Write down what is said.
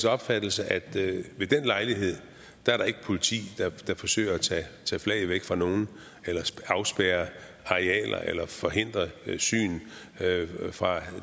opfattelse at der ved den lejlighed ikke er politi som forsøger at tage flag væk fra nogen eller afspærre arealer eller forhindre syn fra